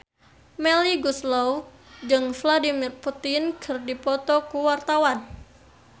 Melly Goeslaw jeung Vladimir Putin keur dipoto ku wartawan